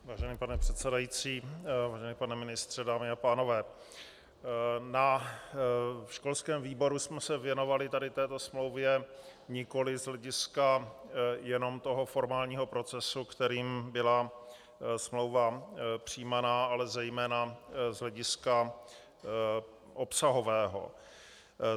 Vážený pane předsedající, vážený pane ministře, dámy a pánové, na školském výboru jsme se věnovali tady této smlouvě nikoliv z hlediska jenom toho formálního procesu, kterým byla smlouva přijímaná, ale zejména z hlediska obsahového.